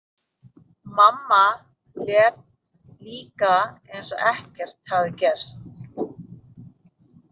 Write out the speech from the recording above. Mamma lét líka eins og ekkert hefði gerst.